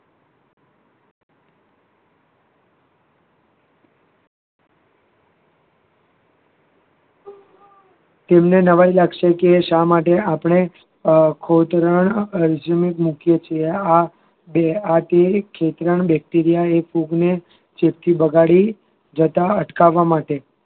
તમને નવાઈ લાગશે શા માટે આપણે અ આ bacteria ફૂગ ને ચેપથી બગાડી જતા અટકાવવા માટે